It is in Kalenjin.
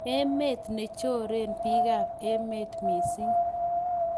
emet ne choren biikab emet mising